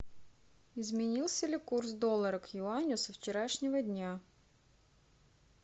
изменился ли курс доллара к юаню со вчерашнего дня